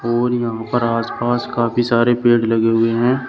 और यहां पर आस पास काफी सारे पेड़ लगे हुए हैं।